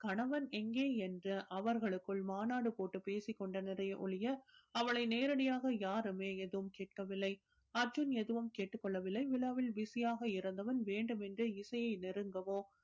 கணவன் எங்கே என்று அவர்களுக்குள் மாநாடு போட்டு பேசிக் கொண்டனரே ஒழிய அவளை நேரடியாக யாருமே எதுவும் கேட்கவில்லை அர்ஜுன் எதுவும் கேட்டுக் கொள்ளவில்லை விழாவில் busy ஆக இருந்தவன் வேண்டுமென்றே இசையை நெருங்கவோ